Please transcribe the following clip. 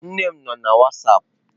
Nne m no na wasapụ.